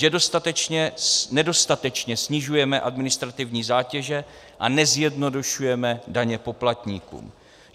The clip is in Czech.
Že nedostatečně snižujeme administrativní zátěže a nezjednodušujeme daně poplatníkům.